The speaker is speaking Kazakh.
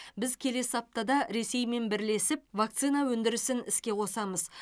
біз келесі аптада ресеймен бірлесіп вакцина өндірісін іске қосамыз